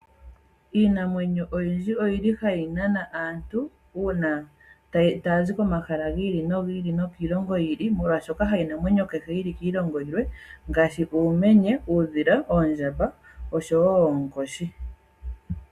Iinamwenyo oyindji oyili hayi nana aantu oyendji taazi komahala nokiilongo oyindji molwaashoka keshi kiilongo ayihe kuna iinamwenyo ngaashi; uumenye, uudhila, oondjamba noonkoshi.